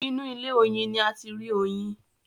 inú ilé oyin ní a tí rí Oyin.